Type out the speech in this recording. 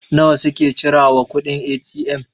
nawa suke cira wa kuɗin A.T.M?